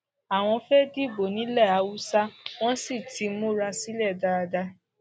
àwọn fẹẹ dìbò nílẹ haúsá wọn sì ti múra sílẹ dáadáa